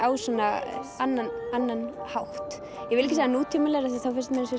á svona annan annan hátt ég vil ekki segja nútímalegri því þá finnst mér eins